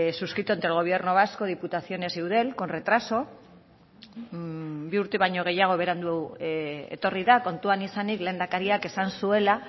suscrito entre el gobierno vasco diputaciones y eudel con retraso bi urte baino gehiago berandu etorri da kontuan izanik lehendakariak esan zuela